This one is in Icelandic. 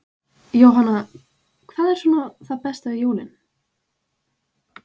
Jóhanna: Hvað er svona besta við jólin?